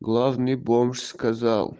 главный бомж сказал